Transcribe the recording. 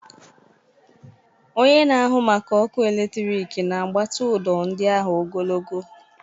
Onye na-ahụ maka ọkụ eletrik na-agbatị ụdọ ndị ahụ ogologo.